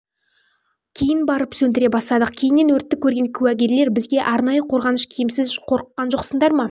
кейін барып сөндіре бастадық кейіннен өртті көрген куәгерлер бізге арнайы қорғаныш киімсіз қорыққан жоқсыңдар ма